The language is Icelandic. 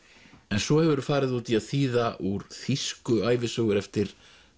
en svo hefurðu farið út í að þýða úr þýsku ævisögur eftir